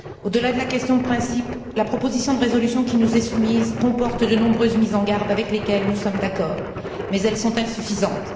Au delà de la question de principe, la proposition de résolution qui nous est soumise comporte de nombreuses mises en garde avec lesquelles nous sommes d'accord, mais elles sont insuffisantes.